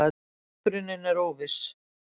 Uppruninn er óviss.